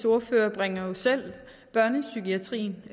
ordfører bringer selv børnepsykiatrien